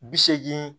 Bi seegin